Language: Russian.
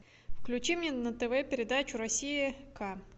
включи мне на тв передачу россия к